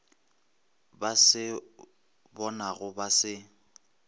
ba se bonago ba se